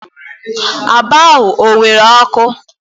Aba ha o nwere ọkụ?